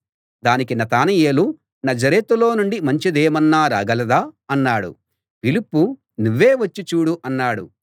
దానికి నతనయేలు నజరేతులో నుండి మంచిదేమన్నా రాగలదా అన్నాడు ఫిలిప్పు నువ్వే వచ్చి చూడు అన్నాడు